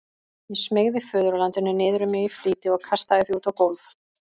Ég smeygði föðurlandinu niður um mig í flýti og kastaði því út á gólf.